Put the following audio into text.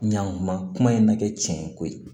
Ɲankuma kuma in na kɛ cɛn ko ye